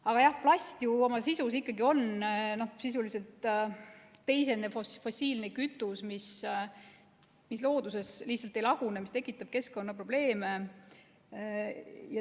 Aga jah, plast ikkagi on ju sisuliselt teisene fossiilne kütus, mis looduses ei lagune ja tekitab keskkonnaprobleeme.